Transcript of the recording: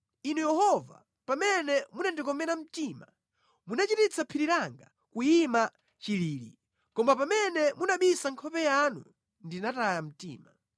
Inu Yehova, pamene munandikomera mtima, munachititsa phiri langa kuyima chilili; koma pamene munabisa nkhope yanu, ndinataya mtima.